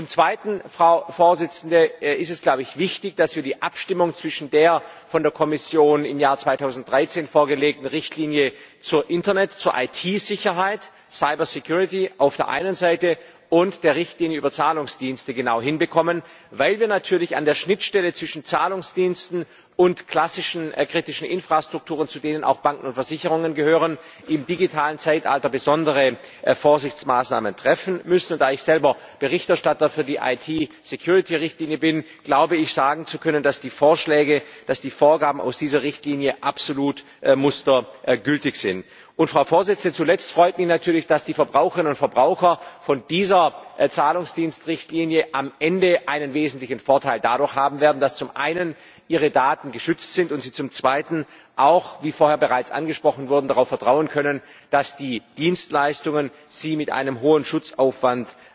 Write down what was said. Zum Zweiten Es ist wichtig, dass wir die Abstimmung zwischen der von der Kommission im Jahr 2013 vorgelegten Richtlinie zur Internet zur IT Sicherheit, Cyber Security auf der einen Seite und der Richtlinie über Zahlungsdienste genau hinbekommen, weil wir natürlich an der Schnittstelle zwischen Zahlungsdiensten und klassischen kritischen Infrastrukturen, zu denen auch Banken und Versicherungen gehören, im digitalen Zeitalter besondere Vorsichtsmaßnahmen treffen müssen. Da ich selber Berichterstatter für die IT Security Richtlinie bin, glaube ich, sagen zu können, dass die Vorschläge, dass die Vorgaben aus dieser Richtlinie absolut mustergültig sind. Zuletzt freut mich natürlich, dass die Verbraucherinnen und Verbraucher von dieser Zahlungsdienstrichtlinie am Ende einen wesentlichen Vorteil dadurch haben werden, dass zum Einen ihre Daten geschützt sind und sie zum Zweiten auch wie vorher bereits angesprochen wurde darauf vertrauen können, dass die Dienstleistungen sie mit einem hohen Schutzaufwand